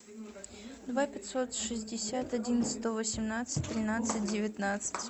два пятьсот шестьдесят один сто восемнадцать тринадцать девятнадцать